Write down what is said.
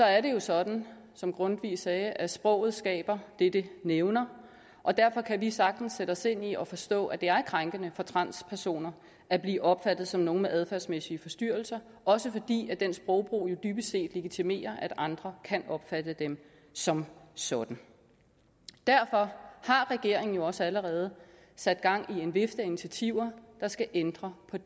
er det jo sådan som grundtvig sagde at sproget skaber det det nævner og derfor kan vi sagtens sætte os ind i og forstå at det er krænkende for transpersoner at blive opfattet som nogen med adfærdsmæssige forstyrrelser også fordi den sprogbrug jo dybest set legitimerer at andre kan opfatte dem som sådan derfor har regeringen jo også allerede sat gang i en vifte af initiativer der skal ændre på